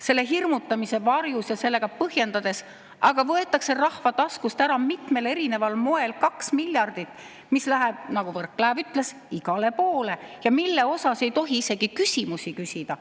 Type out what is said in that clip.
Selle hirmutamise varjus ja sellega põhjendades võetakse rahva taskust ära mitmel erineval moel kaks miljardit, mis läheb, nagu Võrklaev ütles, igale poole ja mille kohta ei tohi isegi küsimusi küsida.